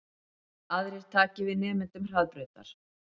Aðrir taki við nemendum Hraðbrautar